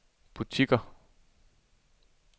butikker